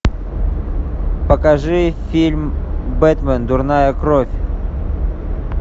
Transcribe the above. покажи фильм бэтмен дурная кровь